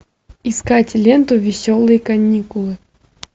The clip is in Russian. искать ленту веселые каникулы